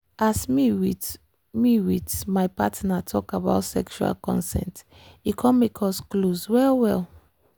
as me with me with my partner talk about sexual consent e come make us close well well.